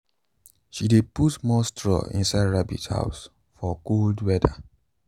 she dey put more straw inside rabbit house for cold weather